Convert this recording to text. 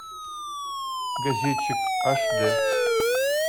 газетчик аш дэ